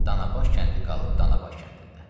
Danabaş kəndi qalıb Danabaş kəndində.